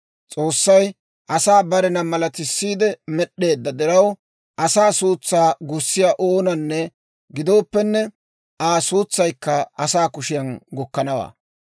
S'oossay asaa barena malatisiidde med'd'eedda diraw, asaa suutsaa gussiyaa oonanne gidooppenne, Aa suutsaykka asaa kushiyaan gukkanawaa.